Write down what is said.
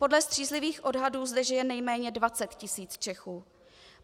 Podle střízlivých odhadů zde žije nejméně 20 tisíc Čechů.